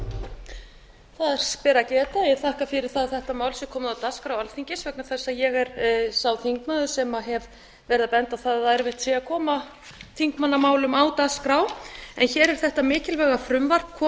að þetta mál sé komið á dagskrá alþingis vegna eins að ég er sá þingmaður sem hef verið að benda á það að erfitt sé að koma þingmannamálum á dagskrá en hér er þetta mikilvæga frumvarp komið á